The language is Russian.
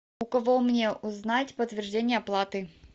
у кого мне узнать подтверждение оплаты